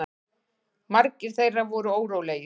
Margir þeirra voru órólegir.